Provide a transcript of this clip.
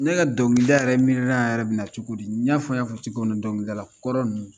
Ne ka dɔnkilida yɛrɛ miirina yɛrɛ bɛ na cogo di i n'a fɔ n y'a fɔ cogo min dɔnkilidala kɔrɔ ninnu